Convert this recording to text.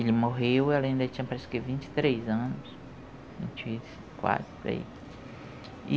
Ele morreu e ela ainda tinha, parece que, vinte e três anos, vinte e quatro, por aí.